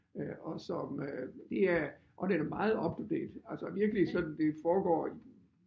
Øh og som øh det er og den er meget up to date altså virkelig sådan det foregår i